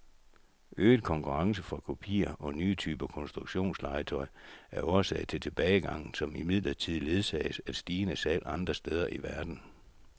Øget konkurrence fra kopier og nye typer konstruktionslegetøj er årsag til tilbagegangen, som imidlertid ledsages af stigende salg andre steder i verden.